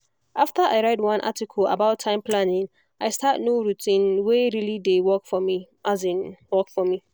after i read one article about time planning i start new routine wey really dey work for me. work for me.